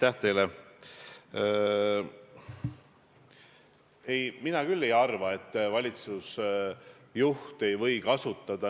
Aga veel kord, minu küsimus oli selle kohta, et te olete lubanud ehitada sidusat ühiskonda.